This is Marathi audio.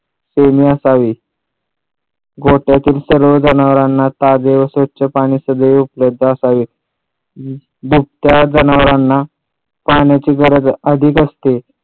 कोणी असावे गोठ्यातील सर्व जनावरांना ताजे व स्वच्छ पाणी सगळे उपलब्ध असावे. बुटक्या जनावरांना पाण्याची गरज अधिक असते.